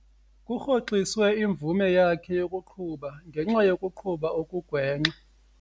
Kurhoxiswe imvume yakhe yokuqhuba ngenxa yokuqhuba okugwenxa.